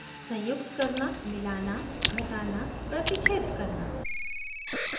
* संयुक्त कंबाइन करना * मिलाना merge करना * घटाना subtract * प्रतिच्छेद intersect करना